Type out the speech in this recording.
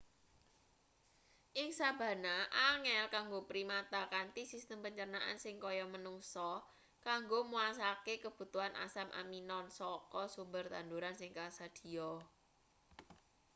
ing sabana angel kanggo primata kanthi sistem pencernaan sing kaya manungsa kanggo muasakae kebutuhan asam aminone saka sumber tanduran sing kasadhiya